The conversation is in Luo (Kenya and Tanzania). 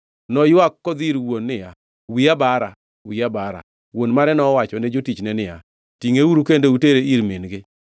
Noywak kodhi ir wuon niya, “Wiya bara! Wiya bara!” Wuon mare nowachone jotichne niya, “Tingʼeuru kendo utere ir min-gi.”